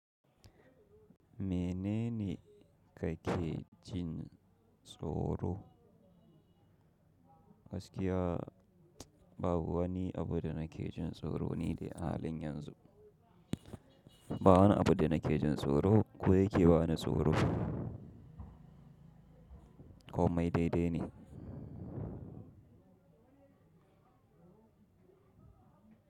Menene kake jin tsoro? Gaskiya babu wani abu da nake jin tsoro ni dai a halin yanzu. Ba wani abu da nake jin tsoro ko yake bani tsoro. Komai daidai ne.